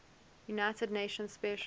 united nations special